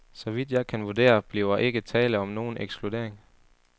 Så vidt jeg kan vurdere, bliver ikke tale om nogen ekskludering.